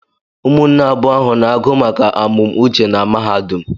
Ụmụnne abụọ ahụ na-agụ maka amụmuche na mahadum